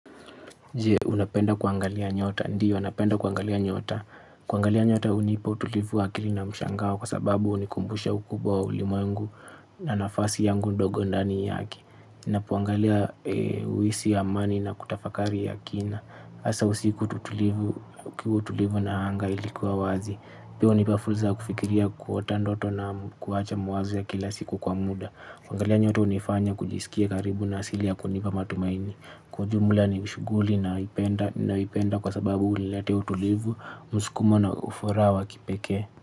Je unapenda kuangalia nyota. Ndio, napenda kuangalia nyota. Kuangalia nyota hunipa utulivu wa akili na mshangao kwa sababu hunikumbusha ukubwa wa ulimwengu na nafasi yangu ndogo ndani yake. Ninapoangalia huhisi amani na kutafakari ya kina. Hasa usiku utulivu na anga ilikuwa wazi. Pia hunipa fursa ya kufikiria kuota ndoto na kuacha mawazo ya kila siku kwa muda. Kuangalia nyota hunifanya kujisikia karibu na asili ya kunipa matumaini. Kwa ujumula ni shughuli ninayoipenda kwa sababu huniletea utulivu, msukumo na ufuraha wa kipekee.